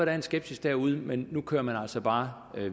er en skepsis derude men nu kører man altså bare